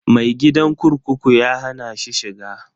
Mai gadin kurkuku ya hana ni shiga.